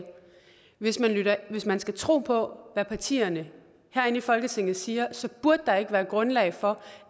hvis man hvis man skal tro på hvad partierne herinde i folketinget siger så burde der ikke være grundlag for